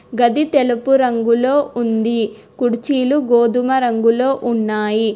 గది తెలుపు రంగులో ఉంది కుర్చీలు గోధుమ రంగులో ఉన్నాయి.